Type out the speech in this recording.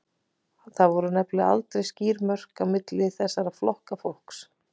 Það voru nefnilega aldrei skýr mörk á milli þessara flokka fólks.